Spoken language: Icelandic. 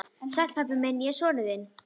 Sæll, pabbi minn, ég er sonur þinn.